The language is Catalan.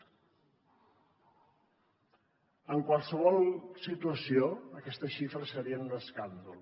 en qualsevol situació aquesta xifra seria un escàndol